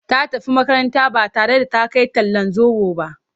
Ta tafi makaranta ba tare da ta kai talllan zoɓo ba.